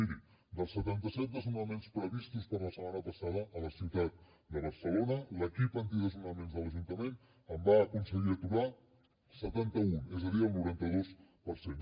miri dels setanta set desnonaments previstos per la setmana passada a la ciutat de barcelona l’equip antidesnonaments de l’ajuntament en va aconseguir aturar setanta un és a dir el noranta dos per cent